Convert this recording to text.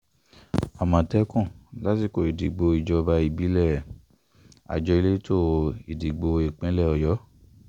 amọ̀tẹ́kùn lásìkò ìdìbò ìjọba ìbílẹ̀- àjọ elétò ìdìbò ìpínlẹ̀ ọ̀yọ́